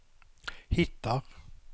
hittar